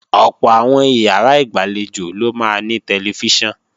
Ọ̀pọ̀ àwọn ìyàrá ìgbàlejò ló máa ní tẹlifíṣàn